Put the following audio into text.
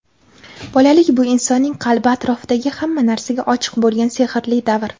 Bolalik – bu insonning qalbi atrofdagi hamma narsaga ochiq bo‘lgan sehrli davr.